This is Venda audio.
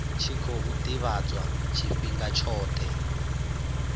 tshi khou ḓivhadzwa tshifhinga tshoṱhe